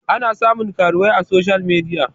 ana samun karuwai a soshiyal midia